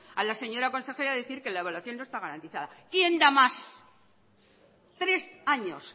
a la señora consejera decir que la evaluación no está garantizada quién da más tres años